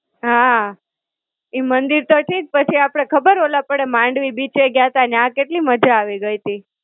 હાં. ઈ મંદિર તો ઠીક પછી આપડે ખબર ઓલા આપડે માંડવી બીચે ગ્યા તા, ન્યાં કેટલી મજા આવી ગઈ તી.